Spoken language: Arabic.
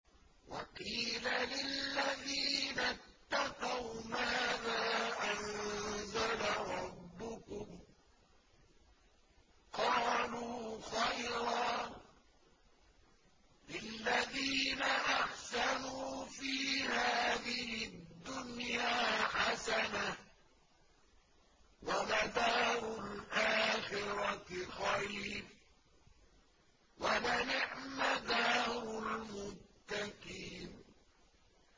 ۞ وَقِيلَ لِلَّذِينَ اتَّقَوْا مَاذَا أَنزَلَ رَبُّكُمْ ۚ قَالُوا خَيْرًا ۗ لِّلَّذِينَ أَحْسَنُوا فِي هَٰذِهِ الدُّنْيَا حَسَنَةٌ ۚ وَلَدَارُ الْآخِرَةِ خَيْرٌ ۚ وَلَنِعْمَ دَارُ الْمُتَّقِينَ